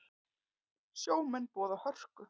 Sjómenn boða hörku